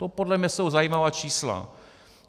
To podle mě jsou zajímavá čísla.